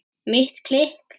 Mitt klikk?